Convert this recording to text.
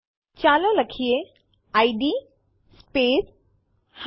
ચાલો લખીએ id space g